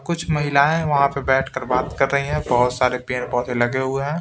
कुछ महिलाएं वहाँ पे बैठकर बात कर रही हैं बहुत सारे पेड़ पौधे लगे हुए हैं।